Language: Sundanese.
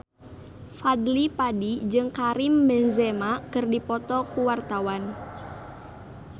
Fadly Padi jeung Karim Benzema keur dipoto ku wartawan